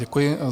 Děkuji.